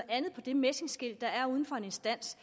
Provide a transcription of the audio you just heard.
andet på det messingskilt der er uden for en instans